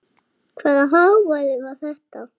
Hvaða hávaði var þetta?